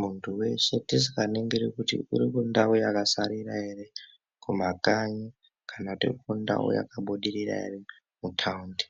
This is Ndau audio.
Muntu weshe tisikaningiri kuti uri kundau yakasarira ere kumakanyi kana kuti uri kundau yakabudirira ere muthaundi